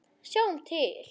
Sjáum til.